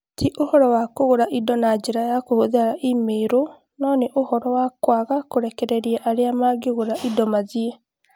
Ti ũhoro wa kũgũra indo na njĩra ya kũhũthĩra email, no nĩ ũhoro wa kwaga kũrekereria arĩa mangĩgũgũra indo mathiĩ.